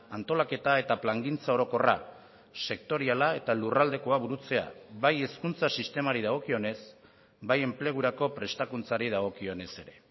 antolaketa eta plangintza orokorra sektoriala eta lurraldekoa burutzea bai hezkuntza sistemari dagokionez bai enplegurako prestakuntzari dagokionez ere